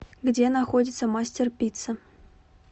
где находится мастер пицца